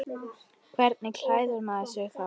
Hvernig klæðir maður sig þá?